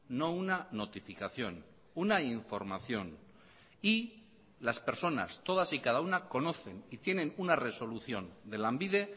no una notificación una información y las personas todas y cada una conocen y tienen una resolución de lanbide